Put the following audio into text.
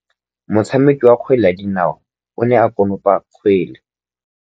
Motshameki wa kgwele ya dinaô o ne a konopa kgwele.